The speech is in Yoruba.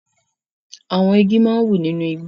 Àwọn igi máa ń wù nínú igbó.